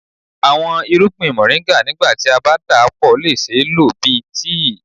Awọn irugbin Moringa nigba ti a ba dapọ le ṣee lo bi tii.